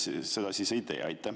Miks te seda siis ei tee?